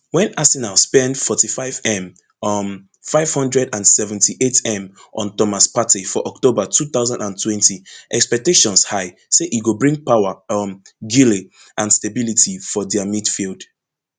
wen arsenal spend forty-fivem um five hundred and seventy-eightm on thomas partey for october two thousand and twenty expectations high say e go bring power um guile and stability for dia midfield